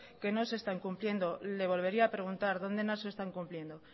que no se están cumpliendo le volvería a preguntar dónde no se están cumpliendo